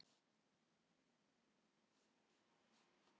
Í þessari deild skiptast einnig á surtarbrands- og skeljalög.